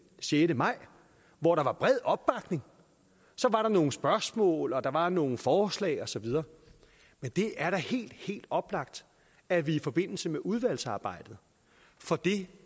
sjette maj hvor der var bred opbakning så var der nogle spørgsmål og der var nogle forslag og så videre men det er da helt helt oplagt at vi i forbindelse med udvalgsarbejdet får det